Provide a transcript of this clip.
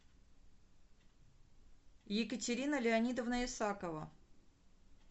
екатерина леонидовна исакова